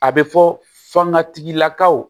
A bɛ fɔ fanga tigilakaw